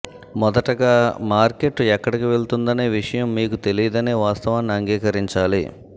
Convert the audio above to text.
మొదటగా మార్కెట్ ఎక్కడికి వెళుతుందనే విషయం మీకు తెలియదనే వాస్తవాన్ని అంగీకరించాలి